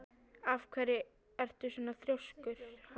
Af hverju ertu svona þrjóskur, Hafrún?